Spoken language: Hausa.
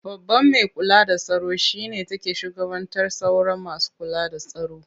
Babban mai kula da tsaro shi ne take shugabantar sauran masu kula da tsaro.